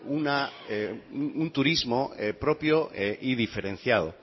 un turismo propio y diferenciado